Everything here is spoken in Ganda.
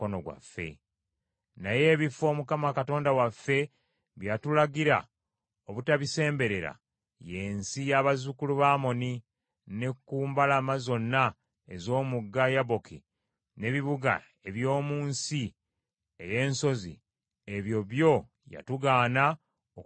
Naye ebifo, Mukama Katonda waffe bye yatulagira obutabisemberera, y’ensi y’abazzukulu ba Amoni, ne ku mbalama zonna ez’omugga Yaboki, n’ebibuga eby’omu nsi ey’ensozi; ebyo byo yatugaana okubikwatirako ddala.